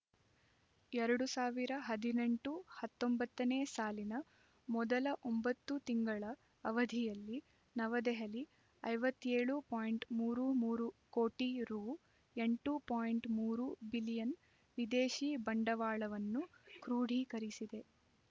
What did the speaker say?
ಎರಡು ಸಾವಿರ ಹದಿನೆಂಟು ಹತ್ತೊಂಬತ್ತನೇ ಸಾಲಿನ ಮೊದಲ ಒಂಬತ್ತು ತಿಂಗಳ ಅವಧಿಯಲ್ಲಿ ನವದೆಹಲಿ ಐವತ್ತ್ ಏಳು ಪಾಯಿಂಟ್ ಮೂರು ಮೂರು ಕೋಟಿ ರೂ ಎಂಟು ಪಾಯಿಂಟ್ ಮೂರು ಬಿಲಿಯನ್ ವಿದೇಶಿ ಬಂಡವಾಳವನ್ನು ಕ್ರೂಢೀಕರಿಸಿದೆ